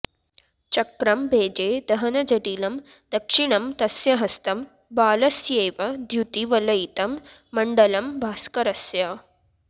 चक्रं भेजे दहनजटिलं दक्षिणं तस्य हस्तं बालस्येव द्यूतिवलयितं मण्डलं भास्करस्य